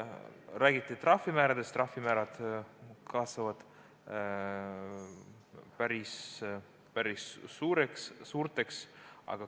Räägiti trahvimääradest, need kasvavad päris suureks.